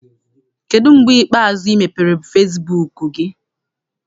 Kedụ mgbe ikpeazụ ị mepere fesibuuku gị?